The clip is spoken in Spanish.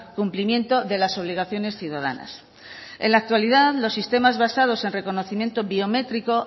cumplimiento de las obligaciones ciudadanas en la actualidad los sistemas basados en reconocimiento biométrico